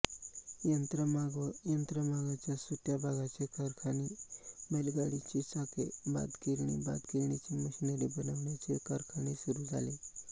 यंत्रमाग व यंत्रमागाच्या सुटय़ा भागांचे कारखाने बैलगाडीची चाके भातगिरणी भातगिरणीची मशिनरी बनविण्याचे कारखाने सुरू झाले